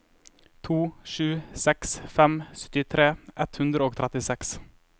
to sju seks fem syttitre ett hundre og trettiseks